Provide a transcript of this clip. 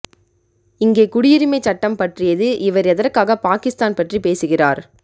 இங்கே குடியுரிமை சட்டம் பற்றியது இவர் எதற்க்காக பாகிஸ்தான் பற்றி பேசுகிறார்